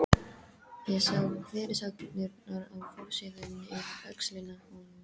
Ég sá fyrirsagnirnar á forsíðunni yfir öxlina á honum